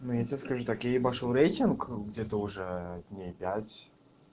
ну я тебе скажу так я ебашил рейтинг где-то уже дней пять